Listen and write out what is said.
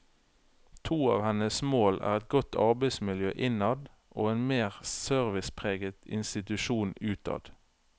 To av hennes mål er et godt arbeidsmiljø innad og en mer servicepreget institusjon utad.